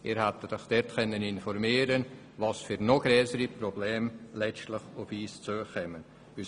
Sie hätten sich dort darüber informieren können, welche noch grösseren Probleme auf uns zukommen werden.